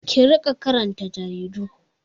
Ki riƙa karanta jaridu!